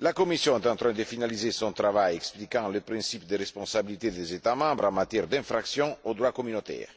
La Commission est en train de finaliser son travail expliquant le principe de responsabilité des États membres en matière d'infractions au droit communautaire,